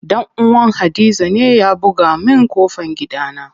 Dan uwan hadiza ne ya buga min ƙofan gidana.